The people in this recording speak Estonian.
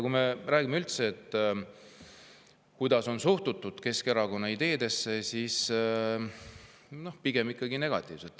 Kui me räägime, kuidas üldse on suhtutud Keskerakonna ideedesse, siis pigem ikkagi negatiivselt.